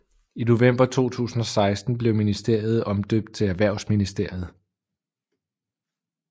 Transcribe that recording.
I november 2016 blev ministeriet omdøbt til Erhvervsministeriet